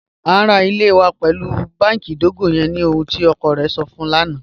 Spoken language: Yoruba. A n ra ilẹ̀ wa pẹlu bánkì idogo yẹn ni ohun tí ọkọ rẹ̀ sọ̀ fun ń lana